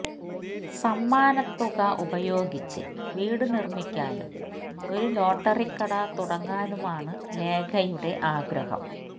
സമ്മാനത്തുക ഉപയോഗിച്ച് വീട് നിര്മിക്കാനും ഒരു ലോട്ടറിക്കട തുടങ്ങാനുമാണ് ലേഖയുടെ ആഗ്രഹം